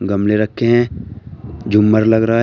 गमले रखे हैं झूमर लग रहा है।